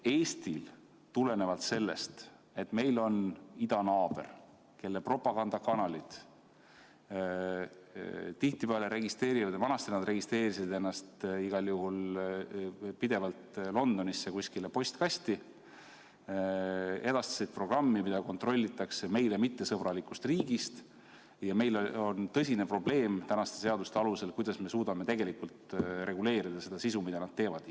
Tulenevalt sellest, et meil on idanaaber, kelle propagandakanalid tihtipeale registreerivad, vanasti nad registreerisid ennast igal juhul pidevalt Londonisse kuskile postkasti, ja edastavad programmi, mida kontrollitakse meie suhtes mittesõbralikust riigist, on meil tänaste seaduste alusel tõsine probleem see, kuidas me suudaksime reguleerida sisu, mida nad edastavad.